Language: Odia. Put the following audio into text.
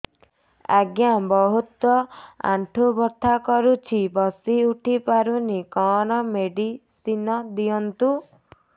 ଆଜ୍ଞା ବହୁତ ଆଣ୍ଠୁ ବଥା କରୁଛି ବସି ଉଠି ପାରୁନି କଣ ମେଡ଼ିସିନ ଦିଅନ୍ତୁ